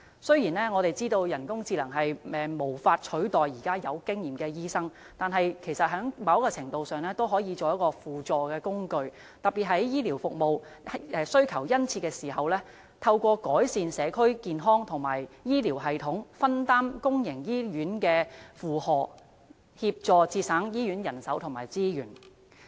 雖然，我們知道人工智能無法取代有經驗的醫生，但在某程度上也可以作為輔助工具，特別是在醫療服務需求殷切的時候，透過改善社區健康和醫療系統，可做到分擔公營醫院負荷，協助節省醫院人手和資源。